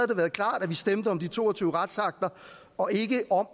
det været klart at vi stemte om de to og tyve retsakter og ikke om